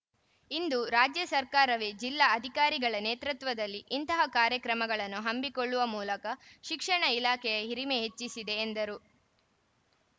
ಇಂದು ರಾಜ್ಯ ಸರ್ಕಾರವೇ ಜಿಲ್ಲಾ ಅಧಿಕಾರಿಗಳ ನೇತೃತ್ವದಲ್ಲಿ ಇಂತಹ ಕಾರ್ಯಕ್ರಮಗಳನ್ನು ಹಮ್ಮಿಕೊಳ್ಳುವ ಮೂಲಕ ಶಿಕ್ಷಣ ಇಲಾಖೆಯ ಹಿರಿಮೆ ಹೆಚ್ಚಿಸಿದೆ ಎಂದರು